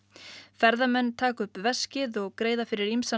ferðamenn taka upp veskið og greiða fyrir ýmsan